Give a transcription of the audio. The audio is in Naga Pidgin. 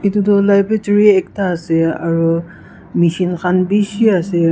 etitu librotory ekta ase aru mechine khan bishi ase.